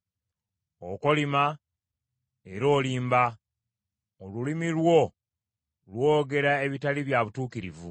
Okolima era olimba; olulimi lwo lwogera ebitali bya butuukirivu.